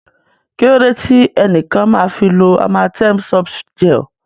Kí ló dé tí ẹnìkan máa fi lo Amatem Softgel?